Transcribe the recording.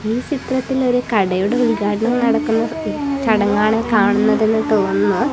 ഈ ചിത്രത്തിൽ ഒരു കടയുടെ ഉദ്ഘാടനം നടക്കുന്ന ചടങ്ങാണ് കാണുന്നതെന്ന് തോന്നുന്നു.